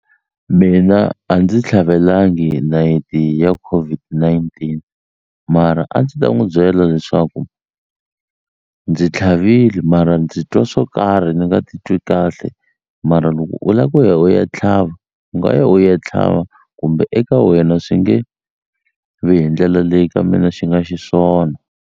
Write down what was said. Mina a ndzi tlhavelangi nayiti ya COVID-19 mara a ndzi ta n'wu byela leswaku ndzi tlhavile mara ndzi twa swo karhi ni nga titwi kahle mara loko u la ku ya u ya tlhava u nga ya u ya tlhava kumbe eka wena swi nge vi hi ndlela leyi ka mina xi nga xiswona.